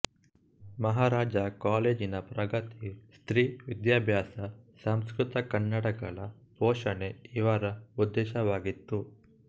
ಮಹಾರಾಜ ಕಾಲೇಜಿನ ಪ್ರಗತಿ ಸ್ತ್ರೀ ವಿದ್ಯಾಭ್ಯಾಸ ಸಂಸ್ಕೃತಕನ್ನಡಗಳ ಪೋಷಣೆ ಇವರ ಉದ್ದೇಶವಾಗಿತ್ತು